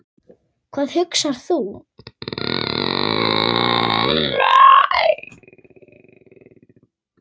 Hvað hugsar þú?